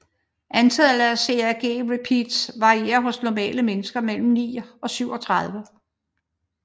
Antallet af CAG repeats varierer hos normale mennesker mellem 9 og 37